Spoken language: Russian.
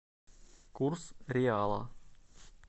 курс реала